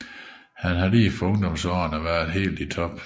Han har lige fra ungdomsårene været helt i top